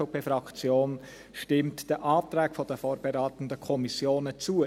Die SVP-Fraktion stimmt den Anträgen der vorberatenden Kommissionen zu.